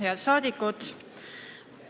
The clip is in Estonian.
Head rahvasaadikud!